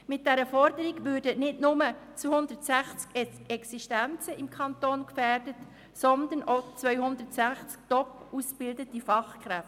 Mit dieser Forderung würden nicht nur 260 Existenzen im Kanton gefährdet, sondern auch 260 top ausgebildete Fachkräfte.